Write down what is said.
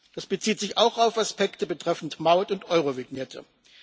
Das bezieht sich auch auf Aspekte betreffend Maut und Eurovignette.